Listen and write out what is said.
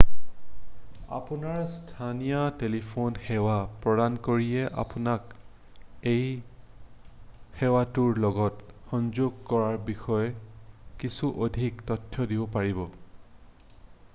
আপোনাৰ স্থানীয় টেলিফোন সেৱা প্ৰদানকাৰীয়ে আপোনাক এই সেৱাটোৰ লগত সংযোগ কৰাৰ বিষয়ে কিছু অধিক তথ্য দিব পাৰিব